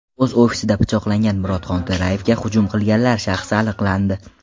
O‘z ofisida pichoqlangan Murod Xonto‘rayevga hujum qilganlar shaxsi aniqlandi .